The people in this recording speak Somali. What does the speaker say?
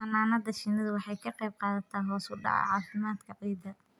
Xannaanada shinnidu waxay ka qayb qaadataa hoos u dhaca caafimaadka ciidda.